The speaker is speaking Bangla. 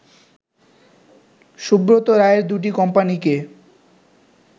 সুব্রত রায়ের দুটি কোম্পানিকে